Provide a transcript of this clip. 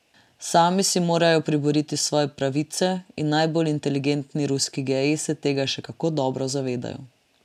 Sami si morajo priboriti svoje pravice in najbolj inteligentni ruski geji se tega še kako dobro zavedajo.